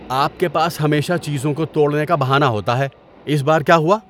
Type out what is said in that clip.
آپ کے پاس ہمیشہ چیزوں کو توڑنے کا بہانہ ہوتا ہے۔ اس بار کیا ہوا؟